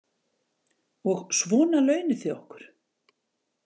Og svona launið þið okkur.